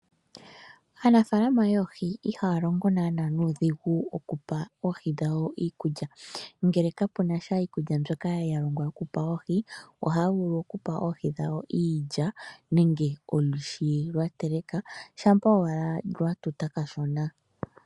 Aanafaalama yoohi ihaya longo naana nuudhigu okupa oohi dhawo iikulya, ngele kapunasha iikulya mbyoka yalongwa okupewa oohi, ohaya vulu okupa ohi dhawo iilya nenge olwiishi lwatelekwa shampa owala lwatuta kashona.